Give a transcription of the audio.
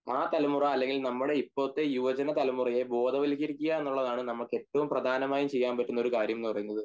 അഹ് തലമുറ അല്ലെങ്കിൽ നമ്മുടെ ഇപ്പോഴത്തെ യുവജന തലമുറയെ ബോധവത്കരിക്ക എന്നുള്ളതാണ് ഏറ്റവും പ്രധാനമായും ചെയ്യാൻ പറ്റുന്നത്